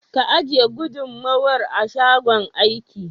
Ka ajiye gudumar a shagon aiki